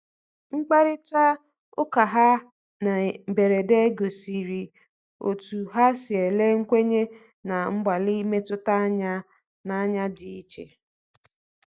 Mkparịta ụkaha na mberede gosiri otú ha si ele nkwenye na mgbalị mmetụta anya n’anya dị iche.